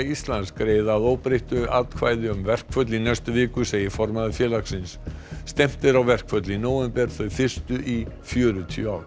Íslands greiða að óbreyttu atkvæði um verkföll í næstu viku segir formaður félagsins stefnt er á verkföll í nóvember þau fyrstu í fjörutíu ár